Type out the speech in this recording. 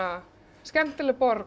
skemmtileg borg